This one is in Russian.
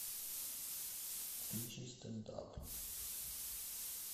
включи стэнд ап